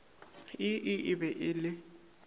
ii e be e le